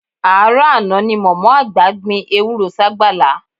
Àárọ̀ àná ni mọ̀mọ́ àgbà gbin ewúró ságbàlá